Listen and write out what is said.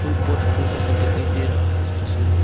Pot फूल का साथ दिखाई दे रहा है इस तस्वीर में।